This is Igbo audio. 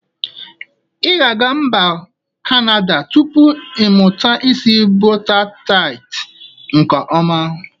I ga aga mba kanada tupu iMụta isi bọta tat nke ọma.